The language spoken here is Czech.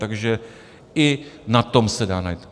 Takže i na tom se dá najít.